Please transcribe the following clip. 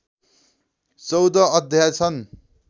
१४ अध्याय छन्